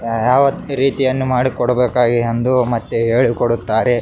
ಯಾವತ್ ರೀತಿಯನ್ನು ಮಾಡಿಕೊಡಬೇಕಾಗಿ ಎಂದು ಮತ್ತೆ ಹೇಳಿಕೊಡುತ್ತಾರೆ .